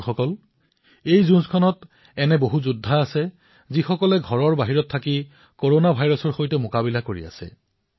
বন্ধুসকল এই যুদ্ধৰ এনে অনেক যোদ্ধা আছে যিসকলে ঘৰতেই নহয় ঘৰৰ বাহিৰতো ভাইৰাছবিধৰ সৈতে যুদ্ধত অৱতীৰ্ণ হৈছে